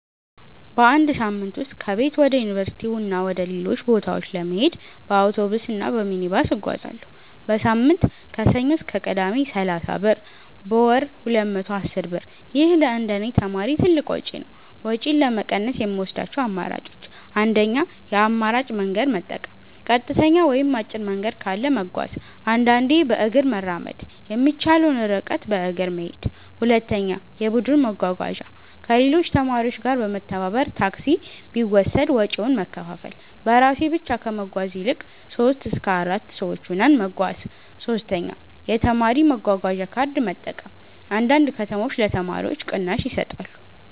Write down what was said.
በአንድ ሳምንት ውስጥ ከቤት ወደ ዩኒቨርሲቲ እና ወደ ሌሎች ቦታዎች ለመሄድ በአውቶቡስ እና በሚኒባስ እጓዛለሁ። · በሳምንት (ከሰኞ እስከ ቅዳሜ) = 30 ብር · በወር = 210 ብር ይህ ለእንደኔ ተማሪ ትልቅ ወጪ ነው። ወጪን ለመቀነስ የምወስዳቸው አማራጮች 1. የአማራጭ መንገድ መጠቀም · ቀጥተኛ ወይም አጭር መንገድ ካለ መጓዝ · አንዳንዴ በእግር መራመድ የሚቻለውን ርቀት በእግር መሄድ 2. የቡድን መጓጓዣ · ከሌሎች ተማሪዎች ጋር በመተባበር ታክሲ ቢወሰድ ወጪውን መከፋፈል · በራሴ ብቻ ከመጓዝ ይልቅ 3-4 ሰዎች ሆነን መጓዝ 3. የተማሪ መጓጓዣ ካርድ መጠቀም · አንዳንድ ከተሞች ለተማሪዎች ቅናሽ ይሰጣሉ